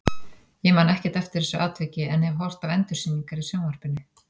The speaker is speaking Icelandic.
Ég man ekkert eftir þessu atviki en hef horft á endursýningar í sjónvarpinu.